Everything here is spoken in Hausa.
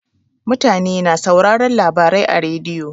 Mutane na sauraron labarai a rediyo.